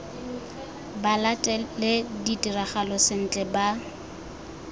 ba latele ditiragalo sentle ba